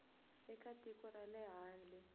eka tiko ra le handle